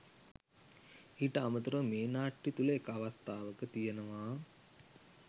ඊට අමතරව මේ නාට්‍ය තුළ එක් අවස්ථාවක තියෙනවා